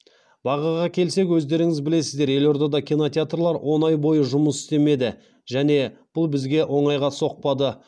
бағаға келсек өздеріңіз білесіздер елордада кинотеатрлар он ай бойы жұмыс істемеді және бұл бізге оңайға соқпады